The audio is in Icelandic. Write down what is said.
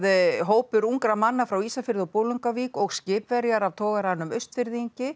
hópur ungra manna frá Ísafirði og Bolungarvík og skipverjar af togaranum